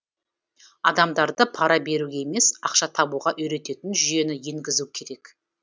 адамдарды пара беруге емес ақша табуға үйрететін жүйені енгізу керек